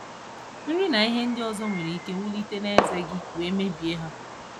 Nri na ihe ndị ọzọ nwere ike wulite n'ezé gị wee mebie ha.